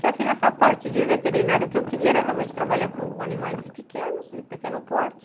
Que assim, essa parte de veterinário, o que eu queria era realmente trabalhar com animais pequenos, de pequeno porte.